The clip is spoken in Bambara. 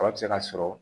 Kɔrɔ bɛ se ka sɔrɔ